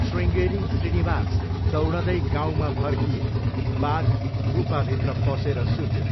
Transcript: शृङ्गेरी श्रीनिवास दौडँदै गाउँमा फर्किए। बाघ गुफाभित्र पसेर सुत्यो।